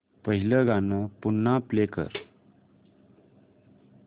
पहिलं गाणं पुन्हा प्ले कर